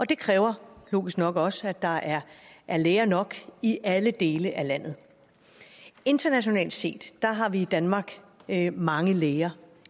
det kræver logisk nok også at der er er læger nok i alle dele af landet internationalt set har vi i danmark mange læger